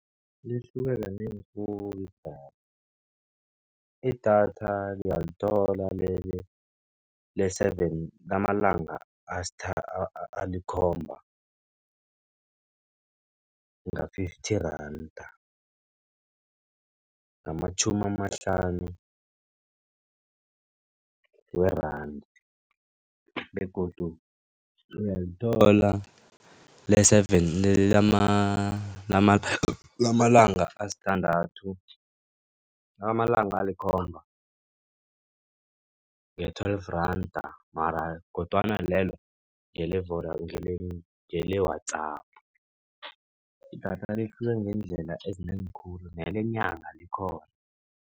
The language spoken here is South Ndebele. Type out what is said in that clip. Lihluke kanengi khulu idatha. Idatha uyalithola le-seven lamalanga alikhomba. Nga-Fifty Randa ngamatjhumi amahlanu we-rand begodu uyalithola le-seven lamalanga asithandathu, lamalanga elikhomba nge-Twelve Randa mara kodwana lelo ngele-WhatsApp idathale ihluke ngeendlela ezinengi khulu nelenyanga likhona.